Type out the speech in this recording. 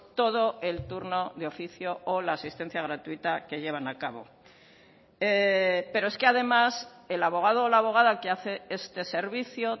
todo el turno de oficio o la asistencia gratuita que llevan a cabo pero es que además el abogado o la abogada que hace este servicio